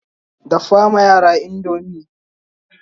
dafa ma yaran indomie!